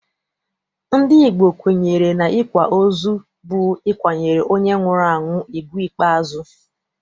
Ndị Igbo kwenyere n'ịkwa ozu bụ ịkwanyere onye nwụrụ anwụ ugwu ikpeazụ.